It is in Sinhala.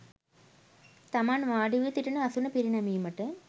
තමන් වාඩි වී සිටින අසුන පිරිනැමීමට